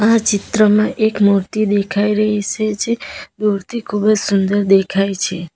આ ચિત્રમાં એક મૂર્તિ દેખાઈ રહી સે જે મૂર્તિ ખૂબ જ સુંદર દેખાય છે.